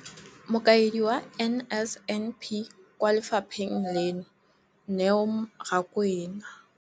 Mokaedi wa NSNP kwa lefapheng leno, Neo Rakwena,